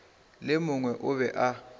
le mongwe o be a